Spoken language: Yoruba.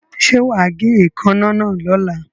Ṣé wà á gé èékánná náà lọ́la.